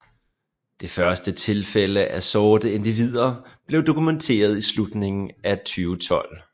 Det første tilfælde af sorte individer blev dokumenteret i slutningen af 2012